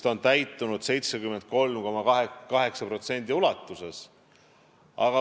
Ta on täitunud 73,8% ulatuses.